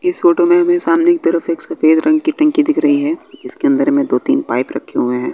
इस फोटो में हमे सामने के तरफ एक सफेद रंग की टंकी दिख रही है जीसके अंदर में दो तीन पाइप रखे हुए हैं।